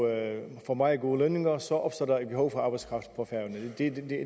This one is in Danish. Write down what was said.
får meget gode lønninger så opstår der et behov for arbejdskraft på færøerne